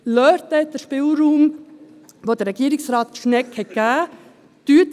Lassen Sie ihnen den Spielraum, den ihnen Regierungsrat Schnegg gegeben hat.